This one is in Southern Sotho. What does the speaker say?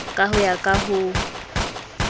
ka ho ya ka ho